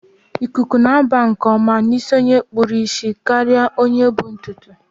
Ikuku na-aba nke ọma n' isi onye kpụrụ isi karịa onye bu ntụtụ isi